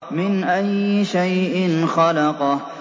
مِنْ أَيِّ شَيْءٍ خَلَقَهُ